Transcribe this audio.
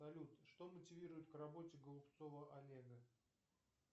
салют что мотивирует к работе голубцова олега